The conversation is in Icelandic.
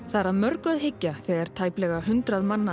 það er að mörgu að hyggja þegar tæplega hundrað mann